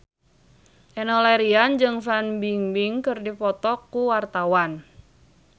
Enno Lerian jeung Fan Bingbing keur dipoto ku wartawan